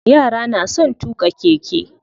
Yara na son tuƙa keke.